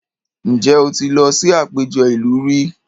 Ǹjẹ́ o ti lọ sí àpéjọ ìlú rí?